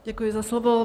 Děkuji za slovo.